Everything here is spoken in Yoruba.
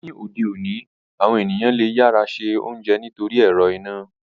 Ni ode oni, awọn eniyan le yara se ounjẹ nitori ẹrọ ina.